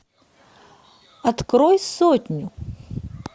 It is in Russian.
открой сотню